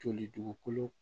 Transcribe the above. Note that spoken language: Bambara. Joli dugukolo